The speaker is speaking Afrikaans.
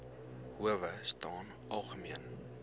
howe staan algemeen